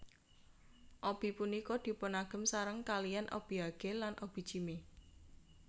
Obi punika dipunagem sareng kalihan obiage lan obijime